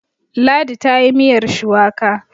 Ladi ta yi miyar shuwaka